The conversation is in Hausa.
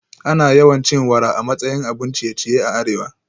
Ana yawan cin wara a matsayin abun ciye-ciye a arewa